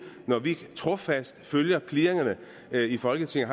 når vi trofast følger clearingerne i folketinget